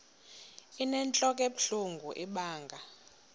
inentlok ebuhlungu ibanga